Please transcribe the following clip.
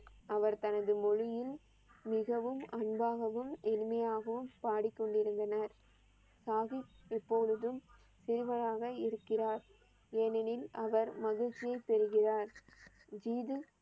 அவர் தனது மொழியில் மிகவும் அன்பாகவும் எளிமையாகவும் பாடிக்கொண்டு இருந்தனர். சாகிப் எப்பொழுதும் சேவையாக இருக்கிறார். ஏனேனில், அவர் மகிழ்ச்சியை பெறுகிறார் ஜிதி